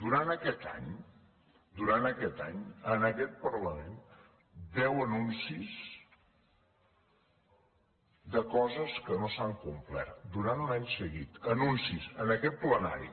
durant aquest any durant aquest any en aquest parlament deu anuncis de coses que no s’han complert durant un any seguit anuncis en aquest plenari